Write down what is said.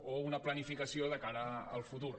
o una planificació de cara al futur